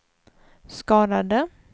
skadade